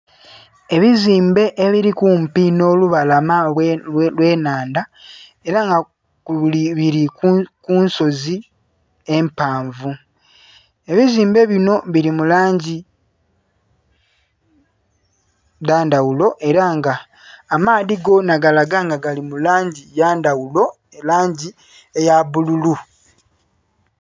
Ebizimbe ebiri kumpi nh'olubalama olw'ennhandha ela nga bili ku nsozi empanvu. Ebizimbe binho bili mu langi dha ndhaghulo ela nga amaadhi gonha galaga nga gali mu langi ya ndhaghulo, langi eya bbululu.